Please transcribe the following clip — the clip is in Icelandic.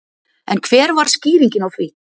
En hver var skýringin á því?